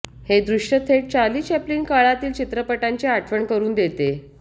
हे दृश्य थेट चार्लीचॅप्लिन काळातील चित्रपटांची आठवण करुन देते